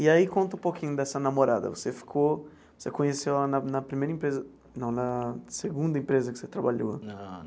E aí conta um pouquinho dessa namorada, você ficou, você conheceu ela na na primeira empresa, não, na segunda empresa que você trabalhou.